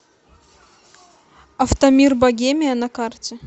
автомир богемия на карте